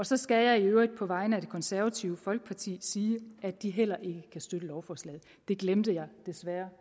så skal jeg i øvrigt på vegne af det konservative folkeparti sige at de heller ikke kan støtte lovforslaget det glemte jeg desværre